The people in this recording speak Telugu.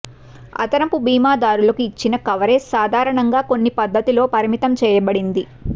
అదనపు బీమాదారులకు ఇచ్చిన కవరేజ్ సాధారణంగా కొన్ని పద్ధతిలో పరిమితం చేయబడింది